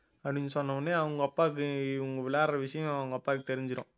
அப்படின்னு சொன்ன உடனே அவங்க அப்பாவுக்கு இவங்க விளையாடுற விஷயம் அவங்க அப்பாக்கு தெரிஞ்சிடும்